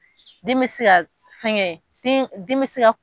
Min bɛ se ka fɛnkɛ, den den